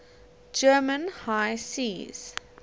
german high seas